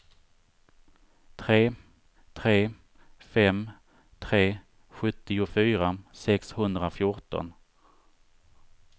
tre tre fem tre sjuttiofyra sexhundrafjorton